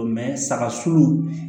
saga sun